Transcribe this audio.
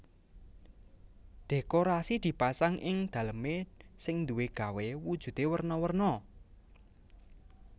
Dhékorasi dipasang ing dalemé sing duwé gawé wujudé werna werna